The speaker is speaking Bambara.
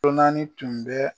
Lonani tun bɛ